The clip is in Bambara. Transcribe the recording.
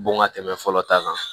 Bon ka tɛmɛ fɔlɔ ta kan